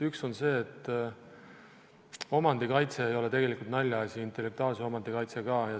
Üks on see, et omandikaitse ei ole tegelikult naljaasi, intellektuaalne omandi kaitse ka.